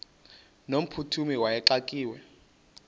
no mphuthumi wayexakiwe